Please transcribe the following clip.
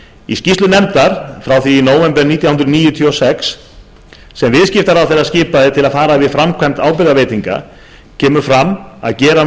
í skýrslu nefndar frá því í nóvember nítján hundruð níutíu og sex sem viðskiptaráðherra skipaði til að fara yfir framkvæmd ábyrgðarveitinga kemur fram að gera